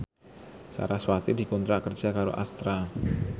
sarasvati dikontrak kerja karo Astra